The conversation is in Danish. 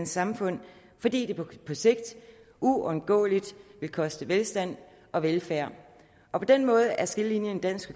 samfund fordi det på sigt uundgåeligt vil koste velstand og velfærd og på den måde er skillelinjen i dansk